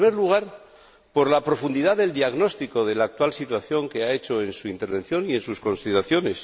En primer lugar, por la profundidad del diagnóstico de la actual situación que ha hecho en su intervención y en sus consideraciones.